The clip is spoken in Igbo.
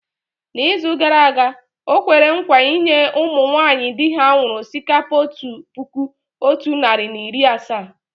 N’izu gara aga, o kwere nkwa inye ụmụ nwaanyị di ha nwụrụ osikapa otu puku otu narị na iri asaa.